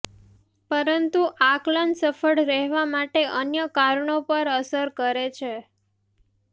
પરંતુ આકલન સફળ રહેવા માટે અન્ય કારણો પણ અસર કરે છે